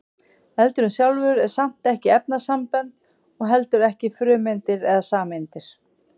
eldurinn sjálfur er samt ekki efnasambönd og heldur ekki frumeindir eða sameindir